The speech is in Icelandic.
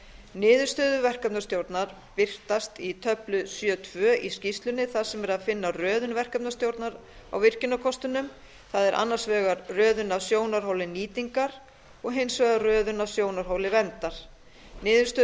niðurstöður verkefnastjórnar birtast í töflu sjö tvö í skýrslunni þar sem er að finna röðun verkefnastjórnar á virkjunarkostunum það er annars vegar röðun á sjónarhóli nýtingar og hins vegar röðun á sjónarhóli vernda niðurstöður